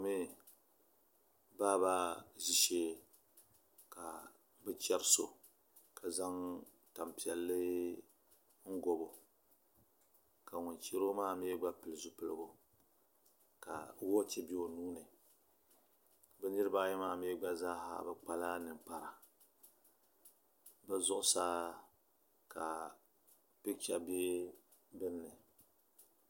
Baaba ʒishee ka bi chɛri so ka zaŋ tanpiɛlli n gobo ka ŋun chɛro maa mii gba pili zipiligu ka wooch bɛ o nuuni bi niraba ayi maa mii gba zaaha bi kpala ninkpara bi zuɣusaa ka picha bɛ dinni